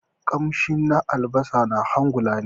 kamshi na albasa na hangula ni.